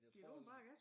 Jeg tror også